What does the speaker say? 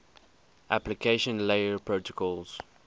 application layer protocols